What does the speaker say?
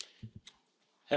Herr Präsident!